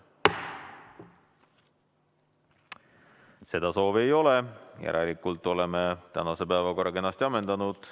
Seda soovi ei ole, järelikult oleme tänase päevakorra kenasti ammendanud.